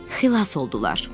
Xilas oldular.